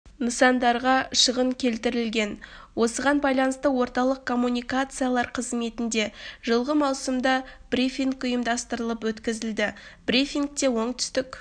нысандарға шығын келтірілген осыған байланысты орталық коммуникациялар қызметінде жылғы маусымда брифинг ұйымдастырылып өткізілді брифнигте оңтүстік